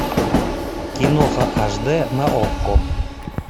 киноха аш д на окко